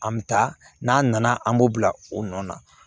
An bɛ taa n'a nana an b'o bila o nɔ na